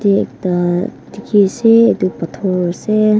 yate ekta dikhiase edu phator ase.